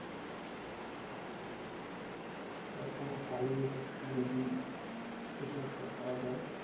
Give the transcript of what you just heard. তো এখনো চালিয়ে যাচ্ছি যদি কিছু একটা করা যায়